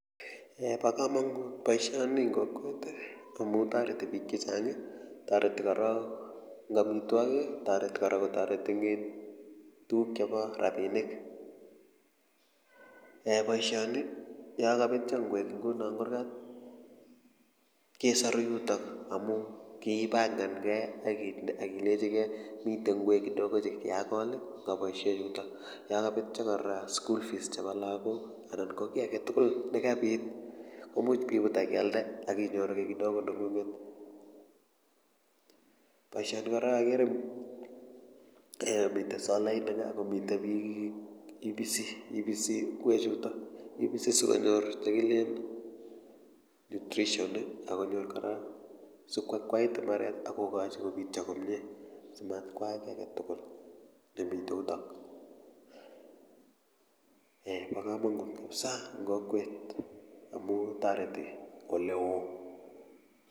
Bo komonut boisioni amu toreti biik chechang toreti korok eng amitwokik toreti kora kotoreti eng tuguk chebo rabinik boisioni yokabetio ngwek inguno eng kurgat kesaru yutok amu kipangan kei akileji gei mitei ngwek kidogo chekiakol yokabetio kora school fees chebo lagok anan ko kiy aketugul nekabit komuch bibut akialde akinyoru ki kidogo nengunget boisioni kora akere eeh mite solainik akomite bik ipisi ngwek chutok sisikonyor chekilen nutrition akonyor kora koakwait mbaret akobityo komye simatkoak ki aketugul nemite yutok eeh bokomonut kapsa eng kokwet amu toreti oleoo .